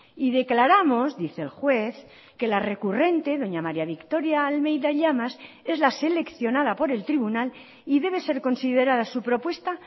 y declaramos dice el juez que la recurrente doña maría victoria almeida llamas es la seleccionada por el tribunal y debe ser considerada su propuesta